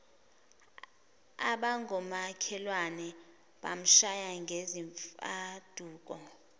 abangomakhelwane bamshaya ngezimfaduko